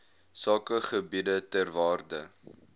sakegebiede ter waarde